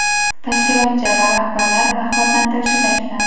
tashkilotchi va rahbarlar rag‘batlantirilishi ta’kidlandi.